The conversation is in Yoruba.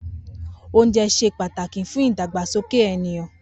Oúnje̩ s̩e pàtàkì fún ìdàgbàsoke ènìyàn